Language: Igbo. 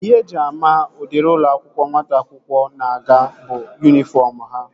Ihe eji ama udiri ụlọ akwụkwọ nwata akwụkwọ na-aga bụ yunifọm ha